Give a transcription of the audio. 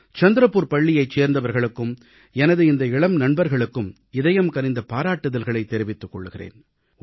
சந்திரப்பூர் பள்ளியைச் சேர்ந்தவர்களுக்கும் எனது இந்த இளம் நண்பர்களுக்கும் இதயம்கனிந்த பாராட்டுதல்களைத் தெரிவித்துக் கொள்கிறேன்